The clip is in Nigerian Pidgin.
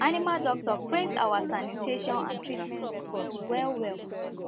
animal doctor praise our sanitation and treatment records well well